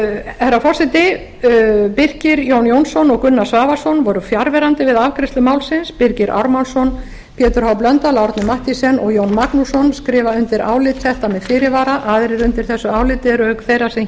herra forseti birkir j jónsson og gunnar svavarsson voru fjarverandi við afgreiðslu málsins birgir ármannsson pétur h blöndal árni mathiesen og jón magnússon skrifa undir álit þetta með fyrirvara aðrir undir þessu áliti eru auk þeirrar sem